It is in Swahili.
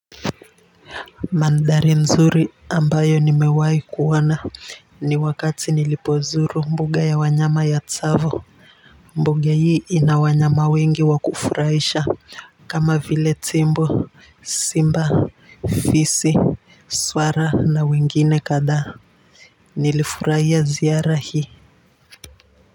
Mandhari nzuri ambayo nimewahi kuona ni wakati nilipozuru mbuga ya wanyama ya tsavo mbuga hii ina wanyama wengi wa kufurahisha kama vile tembo simba fisi swara na wengine kadhaa nilifurahia ziara hii.